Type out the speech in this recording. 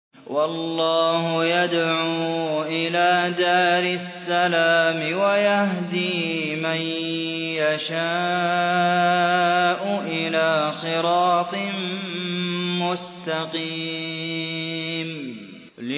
وَاللَّهُ يَدْعُو إِلَىٰ دَارِ السَّلَامِ وَيَهْدِي مَن يَشَاءُ إِلَىٰ صِرَاطٍ مُّسْتَقِيمٍ